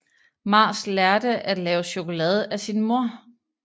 Mars lærte at lave chokolade af sin mor